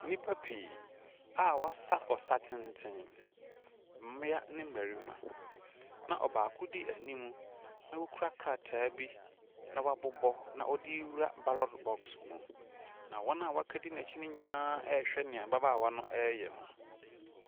Nnipa pii a wɔasa ɔsa tenten. Mmea ne mmarima, na ɔbaako di anim, na ɔkura krataa bi na wabobɔ na ɔde rewura ballot box mu. Na wɔn a wɔaka di n'akyi no nyinaa rehwɛ deɛ ababaawa no reyɛ no.